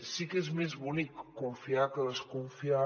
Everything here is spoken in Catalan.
sí que és més bonic confiar que desconfiar